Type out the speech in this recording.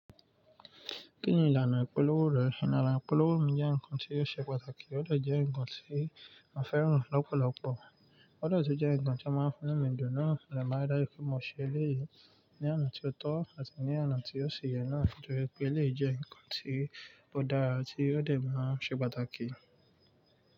Kí ni ìlànà ìpolówó rẹ? Ìlànà ìpolówó mi jẹ́ nǹkan tí ó ṣe pàtàkì, ó dà jẹ́ nǹkan tí mo fẹ́ràn lọ́pọ̀lọpọ̀, ó dà jẹ́ nǹkan tí a máa ń fún mi ní ìdùnnú, Mo dẹ̀ máa ri dájú mo ṣe eléyìí ní àná tí ó tọ́ àti ní àná tí ó ṣe yẹn náà, Nítorí pé eléyìí jẹ́ ǹkan tí ó dára tí ó dẹ̀ máa ṣe pàtàkì.